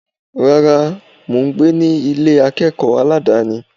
Rárá, mò ń gbé ní Ilé akẹ́kọ̀ọ́ aládàni.